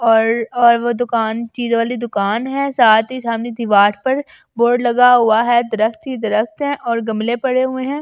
और और वो दुकान चीज वाली दुकान है साथ ही सामने दीवार पर बोर्ड लगा हुआ है दरख्त ही दरख्त है और गमले पड़े हुए हैं।